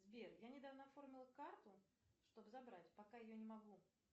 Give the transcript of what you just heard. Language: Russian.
сбер я недавно оформила карту чтобы забрать пока ее не могу